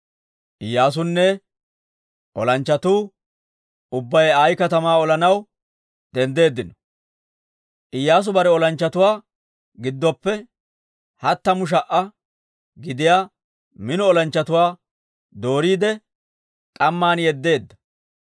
Iyyaasunne olanchchatuu ubbay Ayi katamaa olanaw denddeeddino. Iyyaasu bare olanchchatuwaa giddoppe hattamu sha"a gidiyaa mino olanchchatuwaa dooriide, k'amman yeddeedda.